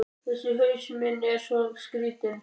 Þessi haus minn er svo skrýtinn.